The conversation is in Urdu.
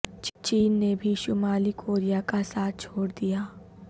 چین نے بھی شمالی کوریا کا ساتھ چھوڑ دیا